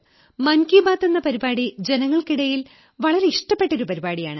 മൻ കീ ബാത് എന്ന പരിപാടി ജനങ്ങൾക്കിടയിൽ ഒരു വളരെ ഇഷ്ടപ്പെട്ട ഒരു പരിപാടിയാണ്